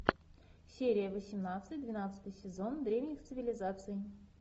серия восемнадцать двенадцатый сезон древних цивилизаций